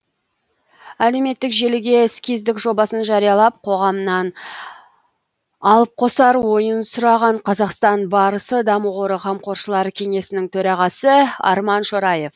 әлеуметтік желіге эскиздік жобасын жариялап қоғамнан алып қосар ойын сұраған қазақстан барысы даму қоры қамқоршылар кеңесінің төрағасы арман шораев